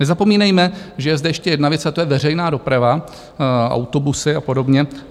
Nezapomínejme, že je zde ještě jedna věc, a to je veřejná doprava, autobusy a podobně.